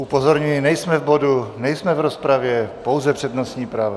Upozorňuji, nejsme v bodu, nejsme v rozpravě, pouze přednostní práva.